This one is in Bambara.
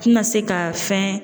tina se ka fɛn